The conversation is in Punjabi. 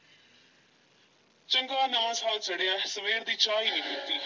ਚੰਗਾ ਨਵਾਂ ਸਾਲ ਚੜ੍ਹਿਐ ਸਵੇਰ ਦੀ ਚਾਹ ਈ ਨਹੀਂ ਪੀਤੀ।